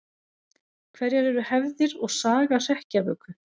Hverjar eru hefðir og saga hrekkjavöku?